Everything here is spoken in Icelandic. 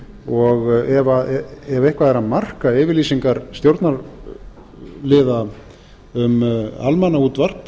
og ef eitthvað er að marka yfirlýsingar stjórnarliða um almannaútvarp